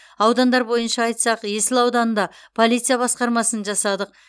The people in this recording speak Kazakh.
аудандар бойынша айтсақ есіл ауданында полиция басқармасын жасадық